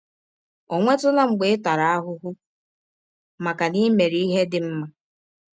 Ọ̀ nwetụla mgbe ị tara ahụhụ maka na i mere ihe dị mma?